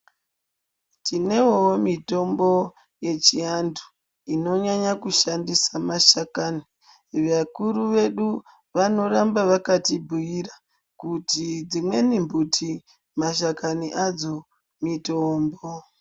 Tinewo mitombo yechianhu inonyanya kushandisa mashakani vakuru vedu vanoramba vakatibhuyira kuti dzimweni mbuti mashakani adzo mitombo.